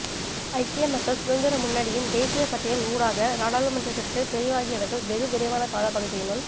ஐக்கிய மக்கள் சுதந்திர முன்னணியின் தேசிய பட்டியல் ஊடாக நாடாளுமன்றத்திற்கு தெரிவாகியவர்கள் வெகுவிரைவான காலப்பகுதியினுள்